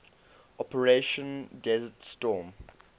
operation desert storm